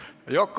Vabandust!